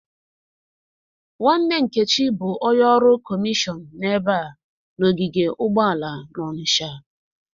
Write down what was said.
Nwanne Nkechi bụ onye ọrụ kọmishọn n'ebe a na-ogige ụgbọala n'ọnitsha.